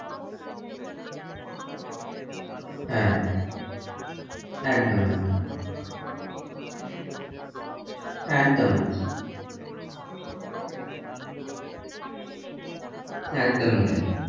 কিছুদিন বর্ষা আর বাকিটা হ্যাঁ একদম একদম আর অন্যান্য কালগুলো তো হারিয়ে গেছে একদম কেবল খাতা কলমেই রয়েগেছে ওগুলো একদমই তাই,